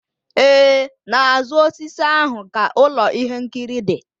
Ee, n'azụ osisi ahụ ka ụlọ ihe nkiri dị